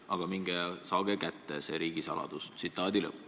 Aga minge ja saage kätte see riigisaladus.